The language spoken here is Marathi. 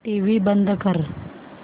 टीव्ही बंद कर